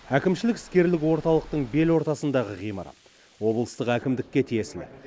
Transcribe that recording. әкімшілік іскерлік орталықтың белортасындағы ғимарат облыстық әкімдікке тиесілі